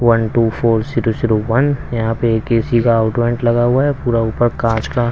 one two four zero zero one यहां पे एक एसी का आउटवेंट लगा हुआ है पूरा ऊपर कांच का--